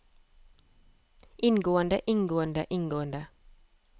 inngående inngående inngående